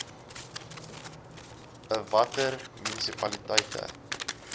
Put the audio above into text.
i watter munisipaliteite